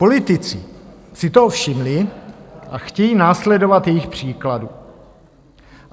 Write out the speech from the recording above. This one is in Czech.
Politici si toho všimli a chtějí následovat jejich příkladu.